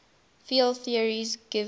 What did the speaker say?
field theory gives